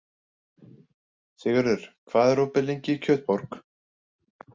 Sigurður, hvað er opið lengi í Kjötborg?